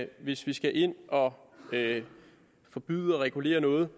hvis vi skal ind og forbyde og regulere noget